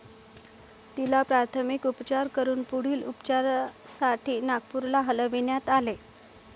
तिला प्राथमिक उपचार करून पुढील उपचारासाठी नागपूरला हलविण्यात आले.